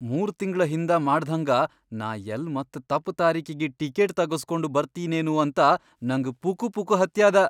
ಮೂರ್ ತಿಂಗ್ಳ್ ಹಿಂದ ಮಾಡ್ದ್ಹಂಗ ನಾ ಯಲ್ಲ್ ಮತ್ತ ತಪ್ ತಾರೀಕಿಗಿ ಟಿಕೀಟ್ ತಗಸ್ಗೊಂಡ್ ಬರ್ತೀನೇನೂ ಅಂತ ನಂಗ್ ಪುಕುಪುಕು ಹತ್ಯಾದ.